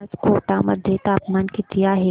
आज कोटा मध्ये तापमान किती आहे